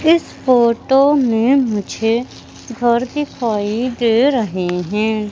इस फोटो में मुझे घर दिखाई दे रहे हैं।